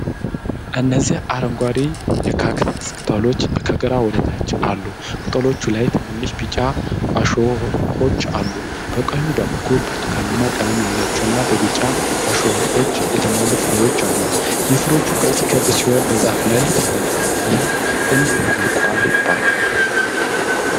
እነዚህ አረንጓዴ የካክተስ ቅጠሎች ከግራ ወደ ታች አሉ። ቅጠሎቹ ላይ ትናንሽ ቢጫ እሾኾች አሉ። በቀኝ በኩል ብርቱካናማ ቀለም ያላቸውና በቢጫ እሾኾች የተሞሉ ፍሬዎች አሉ። የፍራፍሬዎቹ ቅርፅ ክብ ሲሆን በዛፉ ላይ ተንጠልጥለዋል። ይሀም ቁልቋል ይባላል፡፡